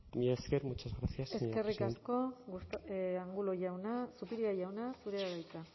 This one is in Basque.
mila esker muchas gracias señora presidenta eskerrik asko angulo jauna zupiria jauna zurea da hitza